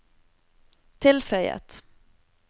tilføyet